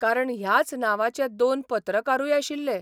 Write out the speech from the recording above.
कारण ह्याच नांवाचे दोन पत्रकारूय आशिल्ले.